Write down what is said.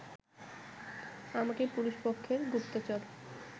আমাকে পুরুষপক্ষের গুপ্তচর